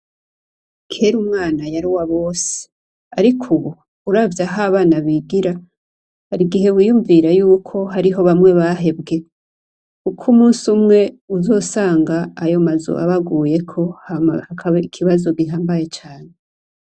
Kera Umwana yari uwabose. Ariko ubu, uravye aho abana bigira, harigihe wiyumvira yuko hariho bamwe bahebwe ukumunsi umwe, uzosanga ayomazu abaguyeko Hama hakaba ikibazo gihambaye cane.